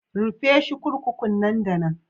Rufe shi 'kurkukun nan da nan.